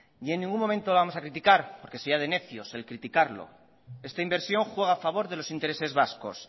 en ningún momento vamos a criticar porque sería de necios el criticarlo esta inversión juega a favor de los intereses vascos